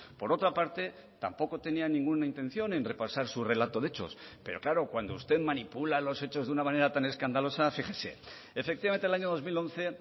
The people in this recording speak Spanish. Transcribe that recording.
por otra parte tampoco tenía ninguna intención en repasar su relato de hechos pero claro cuando usted manipula los hechos de una manera tan escandalosa fíjese efectivamente el año dos mil once